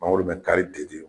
Mangoro ka kari bɛ di.